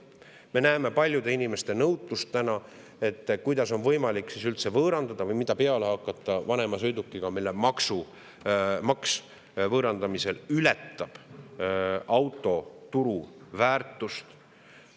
Me näeme täna paljude inimeste nõutust: kuidas on võimalik üldse võõrandada või mida peale hakata vanema sõidukiga, mille võõrandamise ületab auto turuväärtust?